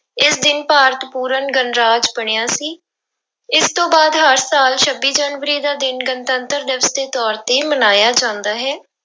ਇਸ ਦਿਨ ਭਾਰਤ ਪੂਰਨ ਗਣਰਾਜ ਬਣਿਆ ਸੀ, ਇਸ ਤੋਂ ਬਾਅਦ ਹਰ ਸਾਲ ਛੱਬੀ ਜਨਵਰੀ ਦਾ ਦਿਨ ਗਣਤੰਤਰ ਦਿਵਸ ਦੇ ਤੌਰ ਤੇ ਮਨਾਇਆ ਜਾਂਦਾ ਹੈ।